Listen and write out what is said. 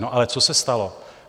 No ale co se stalo?